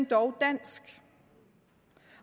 dog dansk